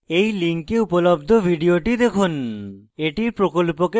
এই লিঙ্কে উপলব্ধ video দেখুন